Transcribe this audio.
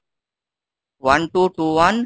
one two two one